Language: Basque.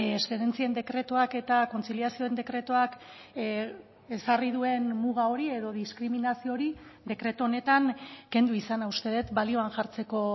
eszedentzien dekretuak eta kontziliazioen dekretuak ezarri duen muga hori edo diskriminazio hori dekretu honetan kendu izana uste dut balioan jartzeko